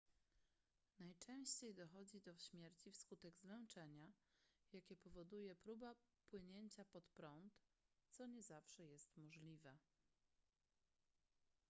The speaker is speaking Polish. najczęściej dochodzi do śmierci wskutek zmęczenia jakie powoduje próba płynięcia pod prąd co nie zawsze jest możliwe